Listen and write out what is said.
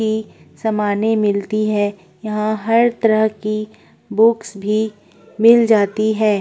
सामाने मिलती है यहां हर तरह की बुक्स भी मिल जाती हैं।